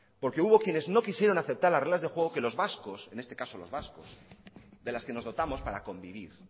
porque hubo quienes no quisieron aceptar las reglas de juego que los vascos en este caso los vascos de las que nos dotamos para convivir